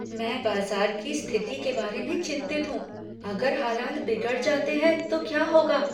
मैं बाजार की स्थिति के बारे में चिंतित हूँ। अगर हालात बिगड़ जाते हैं तो क्या होगा?